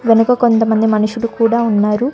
వెనక కొంతమంది మనుషులు కూడా ఉన్నారు.